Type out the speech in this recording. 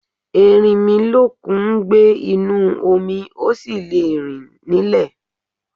Erinmilọ́kun ń gbé inú omi, ó sì le rìn nílè.